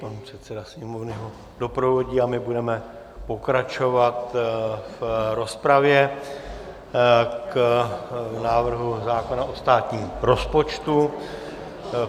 Pan předseda Sněmovny ho doprovodí a my budeme pokračovat v rozpravě k návrhu zákona o státním rozpočtu.